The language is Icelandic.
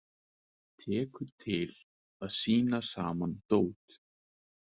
Tekur til við að tína saman dót.